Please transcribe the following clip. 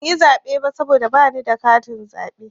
Ban yi zaɓe ba saboda bani da katin zaɓe.